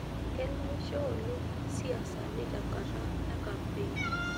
Keleiosho oleng' siaisani tenkata e kampeen.